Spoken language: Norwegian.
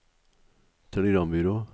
telegrambyrå